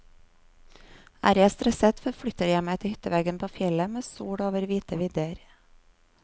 Er jeg stresset, forflytter jeg meg til hytteveggen på fjellet med sol over hvite vidder.